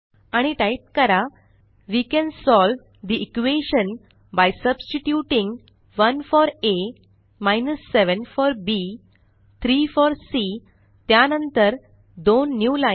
आणि टाइप करा160 we can solve the equation by substituting 1 for a 7 for b 3 for c त्या नंतर दोन न्यूलाईन